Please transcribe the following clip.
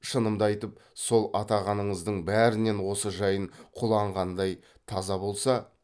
шынымды айтып сол атағаныңыздың бәрінен осы жайын құлан қандай таза болса